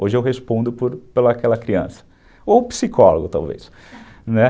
Hoje eu respondo por aquela criança, ou psicólogo talvez, né.